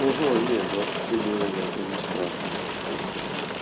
нет двадцать три года я бы уже спрашивал с тебя честно